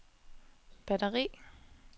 batteri